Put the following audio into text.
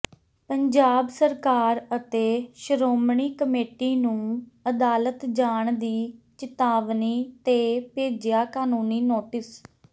ਪੰਜਾਬ ਸਰਕਾਰ ਅਤੇ ਸ਼੍ਰੋਮਣੀ ਕਮੇਟੀ ਨੂੰ ਅਦਾਲਤ ਜਾਣ ਦੀ ਚਿਤਾਵਨੀ ਤੇ ਭੇਜਿਆ ਕਾਨੂੰਨੀ ਨੋਟਿਸ